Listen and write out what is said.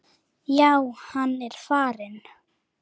Já, hann er farinn